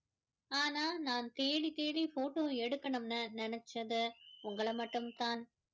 ஆனா நான் தேடி தேடி photo எடுக்கணும்னு நினைச்சது உங்கள மட்டும் தான்